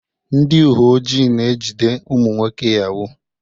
Ndị uwe ojii na-ejide ụmụ nwoke Yahoo.